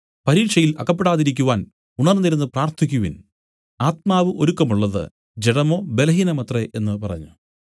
പരീക്ഷയിൽ അകപ്പെടാതിരിക്കുവാൻ ഉണർന്നിരുന്നു പ്രാർത്ഥിക്കുവിൻ ആത്മാവ് ഒരുക്കമുള്ളത് ജഡമോ ബലഹീനമത്രേ എന്നു പറഞ്ഞു